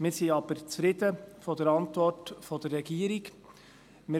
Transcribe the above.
Wir sind aber mit der Antwort der Regierung zufrieden.